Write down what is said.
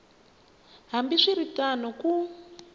hambi swi ri tano ku